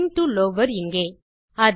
STR டோ lover இங்கே